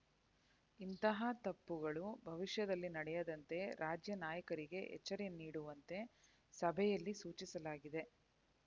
ಇಂತಹ ತಪ್ಪುಗಳು ಭವಿಷ್ಯದಲ್ಲಿ ನಡೆಯದಂತೆ ರಾಜ್ಯ ನಾಯಕರಿಗೆ ಎಚ್ಚರೆ ನೀಡುವಂತೆ ಸಭೆಯಲ್ಲಿ ಸೂಚಿಸಲಾಗಿದೆ